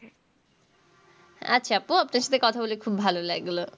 আচ্ছা আপু আপনার সাথে কথা বলে খুব ভালো লাগল।